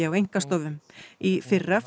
á einkastofum í fyrra